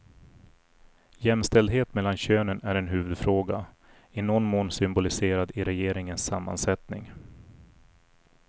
Jämställdhet mellan könen är en huvudfråga, i någon mån symboliserad i regeringens sammansättning.